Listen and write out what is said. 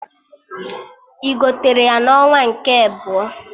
Ị gotere ya na onwa nke ebọ?